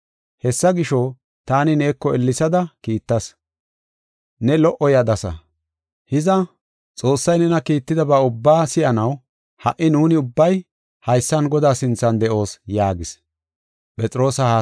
Hessa gisho, taani neeko ellesada kiittas; ne lo77o yadasa. Hiza, Xoossay nena Kiittidaba ubbaa si7anaw ha77i nuuni ubbay haysan Godaa sinthan de7oos” yaagis.